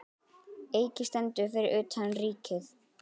Eiki stendur fyrir utan Ríkið.